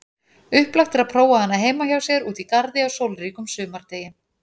Upplagt er prófa hana heima hjá sér úti í garði á sólríkum sumardegi.